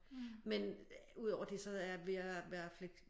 Men udover det så er jeg ved at være flæk